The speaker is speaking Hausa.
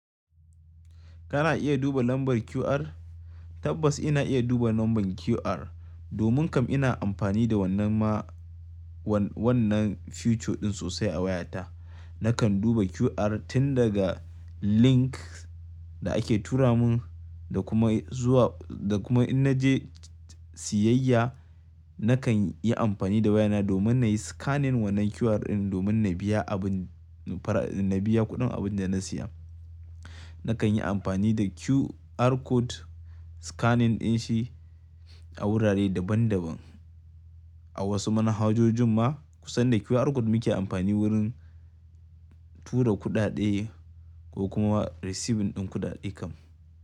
Kana iya duba lambar QR? Tabbas ina iya duba lambar QR. Domin kam ina amfani da wannan ma wannan feature ɗin sosai a wayata. Nakan duba QR tun daga link da ake tura mun da kuma zuwa da kuma in na je siyayya nakan yi amfani da wayana domin na yi scanning wannan QR ɗin domin na biya abin na biya kuɗin abin da na siya. Nakan yi amfani da QR code scanning ɗin shi a wurare daban daban. A wasu manhajojin ma kusan da QR code muke amfani wurin tura kuɗaɗe ko kuma receiving ɗin kuɗaɗe kam.